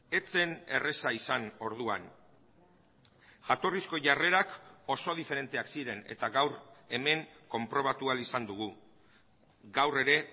ez zen erraza izan orduan jatorrizko jarrerak oso diferenteak ziren eta gaur hemen konprobatu ahal izan dugu gaur ere